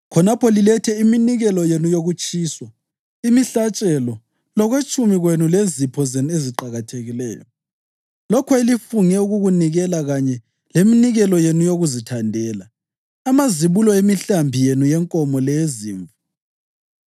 khonapho lilethe iminikelo yenu yokutshiswa lemihlatshelo, lokwetshumi kwenu lezipho zenu eziqakathekileyo, lokho elifunge ukukunikela kanye leminikelo yenu yokuzithandela, amazibulo emihlambi yenu yenkomo leyezimvu.